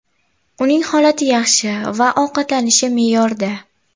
Uning holati yaxshi va ovqatlanishi me’yorda.